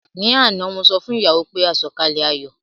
Ní àná mo sọ fún ìyàwó pé àsọ̀kalẹ̀ ayọ̀